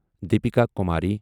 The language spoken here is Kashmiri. دیپیکا کُماری